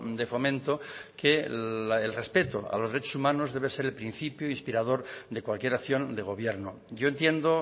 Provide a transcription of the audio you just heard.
de fomento que el respeto a los derechos humanos debe ser el principio inspirador de cualquier acción de gobierno yo entiendo